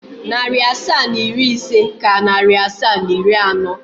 Narị asaa na iri ise ka narị asaa na iri anọ.